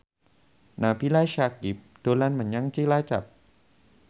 Nabila Syakieb dolan menyang Cilacap